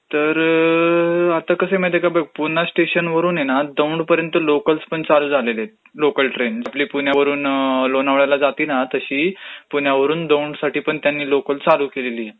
तरं आता कसं आहे माहितेय का बघं, पुणा स्टेशन वरून आहे ना दौडपर्यंत लोकलपण चालू झालेल्या आहेत, आपली पुण्यावरून लोणावळ्याला जाते तशी, पुण्यावरून दौडसाठीपण त्यांनी लोकल चालू केलेली आहे.